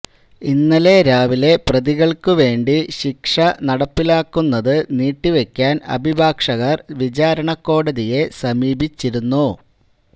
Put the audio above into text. ഇന്നലെ രാവിലെ പ്രതികള്ക്ക് വേണ്ടി ശിക്ഷ നടപ്പിലാക്കുന്നത് നീട്ടിവെക്കാന് അഭിഭാഷകര് വിചാരണ കോടതിയെ സമീപിച്ചിരുന്നു